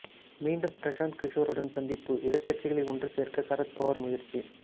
மீண்டும் பிரசாந்த் கிஷோருடன் சந்திப்பு எதிர்க்கட்சிகளை ஒன்று சேர்க்க சரத் பவார் முயற்சி